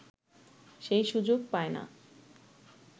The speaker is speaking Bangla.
সেই সুযোগ পায় না